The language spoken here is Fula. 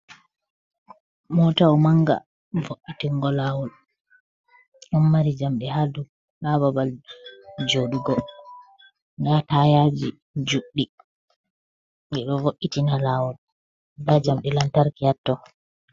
Motawo manga vo’itingo lawol, ɗon mari jamdi ha babal joɗugo nda tayaji juɗɗi ɓeɗo vo’itina lawol nda jamdi lantarki ha to.